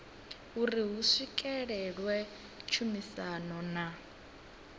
uri hu swikelelwe tshumisano na